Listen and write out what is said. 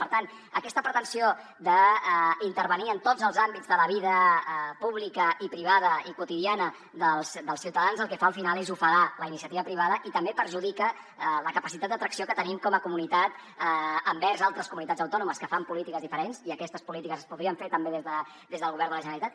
per tant aquesta pretensió d’intervenir en tots els àmbits de la vida pública i privada i quotidiana dels ciutadans el que fa al final és ofegar la iniciativa privada i també perjudica la capacitat d’atracció que tenim com a comunitat envers altres comunitats autònomes que fan polítiques diferents i aquestes polítiques es podrien fer també des del govern de la generalitat